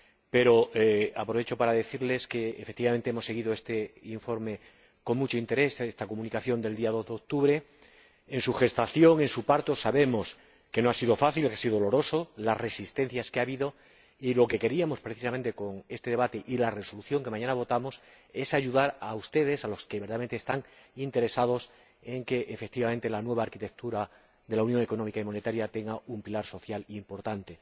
Pero aprovecho para decirles que, efectivamente, hemos seguido este informe con mucho interés, esta Comunicación del día 2 de octubre ―su gestación, su parto sabemos que no ha sido fácil, que ha sido doloroso, las resistencias que ha habido―, y lo que queríamos precisamente con este debate y con la Resolución que mañana votaremos es ayudarles a ustedes, a los que verdaderamente están interesados en que efectivamente la nueva arquitectura de la Unión Económica y Monetaria tenga un pilar social importante.